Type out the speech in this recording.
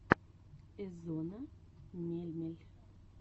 эзонна мельмель